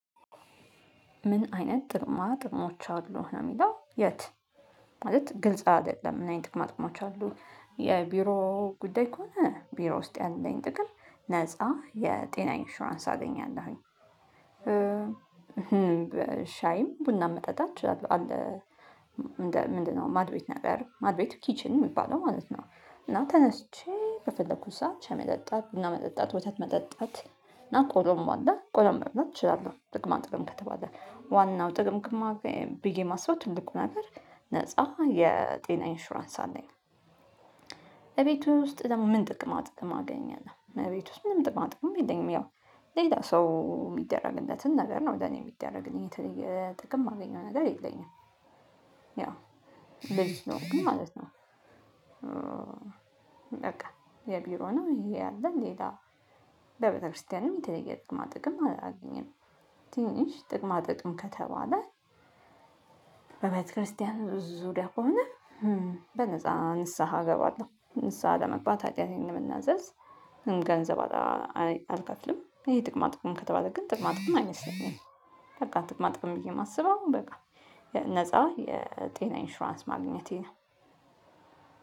ምን አይነት ጥቅማ ጥቅሞች አሉ ነው የሚለው የት? ማለት ግልጽ አይደለም። አይነት ጥቅማ ጥቅሞች አሉ የቢሮ ጉዳይ ከሆነ ቢሮ ውስጥ ያለኝ ጥቅም ነፃ የጤና ኢንሹራንስ አገኛለሁኝ። ሻይም ቡናም መጠጣች አለ። ምንድነው? ማድ ቤት ነገር ማድ ቤቱ ኪችን የሚባለው ማለት ነው። እና ተነስቼ በፈለኩት ሰዓት ሻይ መጠጣት ቡና መጠጣት ወተት መጠጣት እና ቆሎም አለ ቆሎም መብላት እችላለሁ። ጥቅማ ጥቅም ከተባለ ዋናው ጥቅም ጥቅም ብዬ ማስበው ትልቁ ነገር ነፃ የጤና ኢንሹራንስ አለኝ። እቤቱ ውስጥ ደግሞ ምን ጥቅም አጥቅም አገኘን ነው እቤት ውስጥ ምንም ጥቅም አጥቅም የለኝም። ያው ሌላ ሰው የሚደረግለትን ነገር ነው ወደ እኔ የሚደረግልኝ ጥቅም የማገኘው ነገር የለኝም ማለት ነው። በቃ የቢሮ ነው ይሄ ያለ ሌላ ለቤተክርስቲያንም የተለየ ጥቅማ ጥቅም አላገኘንም። ትንሽ ጥቅማ ጥቅም ከተባለ በቤተክርስቲያን ብዙ ደቆምነህ በነፃ ንስሃ እገባለሁ ንስሃ ለመግባት ሀጢያቴን የምናዘዝ ገንዘብ አልከፍልም። ይሄ ጥቅማ ጥቅም ከተባለ ግን ጥቅማ ጥቅም አይመስለኝም። በቃ ጥቅማ ጥቅም ብዬ የማስበው በቃ ነፃ የጤና ኢንሹራንስ ማግኘቴ ነው።